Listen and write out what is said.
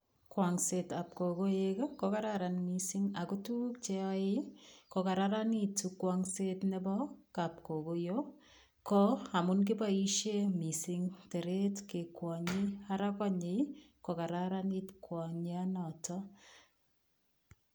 Kwangsetab kogoek ko kararan mising ago tuguk cheyoe kogararanitu kwangset nebo kapkogoiyo ko, amu kiboisie mising teret kekwonye, ara konye kokararanit kwanyonoto.